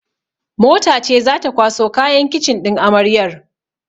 Mota ce zata kwaso kayan kicin ɗin amaryar